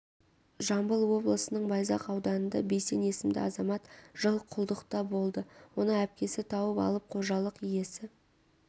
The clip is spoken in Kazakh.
жамбыл облысының байзақ ауданында бейсен есімді азамат жыл құлдықта болды оны әпкесі тауып алып қожалық иесі